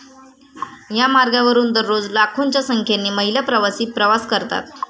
या मार्गावरून दररोज लाखोंच्या संख्येने महिला प्रवासी प्रवास करतात.